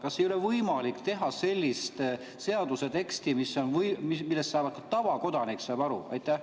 Kas ei ole võimalik teha sellist seaduse teksti, millest ka tavakodanik saab aru?